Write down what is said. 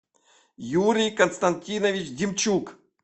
юрий константинович демчук